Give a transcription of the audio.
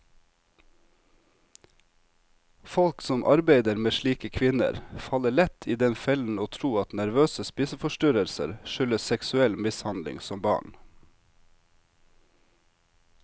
Folk som arbeider med slike kvinner, faller lett i den fellen å tro at nervøse spiseforstyrrelser skyldes seksuell mishandling som barn.